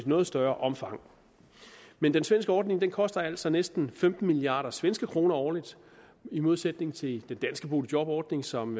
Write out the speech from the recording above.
noget større omfang men den svenske ordning koster altså næsten femten milliard svenske kroner årligt i modsætning til den danske boligjobordning som